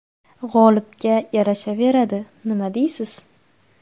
G‘olibga yarashaveradi, nima deysiz?